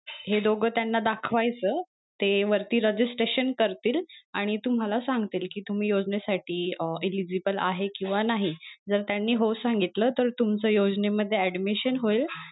हे दोघ त्यांना दाखवायच ते वरती registration करतील आणि तुम्हाला सांगतील कि तुम्ही योजने साठी अं eligible आहे किंवा नाही जर त्यांनी हो सांगितलं तर तुमच योजने मध्ये addmision होईल.